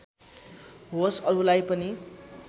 होस् अरूलाई पनि